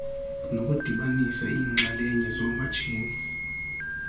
nokudibanisa iinxalenye zoomatshini